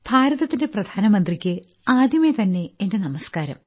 ഭാരതത്തിന്റെ പ്രധാനമന്ത്രിക്ക് ആദ്യമേ തന്നെ എന്റെ നമസ്ക്കാരം